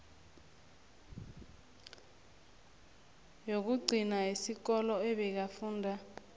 yokugcina yesikolo abekafunda